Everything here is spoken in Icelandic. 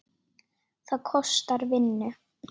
Það kostar vinnu!